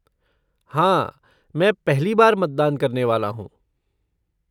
हाँ, मैं पहली बार मतदान करने वाला हूँ।